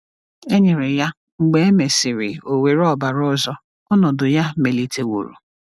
E nyere ya, mgbe e mesịrị o were ọbara ọzọ, ọnọdụ ya meliteworo.